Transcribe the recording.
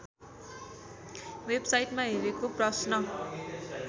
वेबसाइटमा हेरेको प्रश्न